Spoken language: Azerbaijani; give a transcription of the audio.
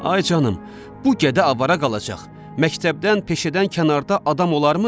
Ay canım, bu gədə avara qalacaq, məktəbdən, peşədən kənarda adam olarmı?